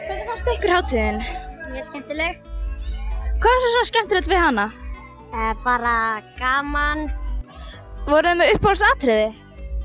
hvernig fannst ykkur hátíðin mjög skemmtileg hvað var svona skemmtilegt við hana bara gaman voru þið með uppáhalds atriði